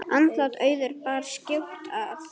Andlát Auðar bar skjótt að.